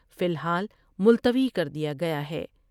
کو فی الحال ملتوی کر دیا گیا ہے ۔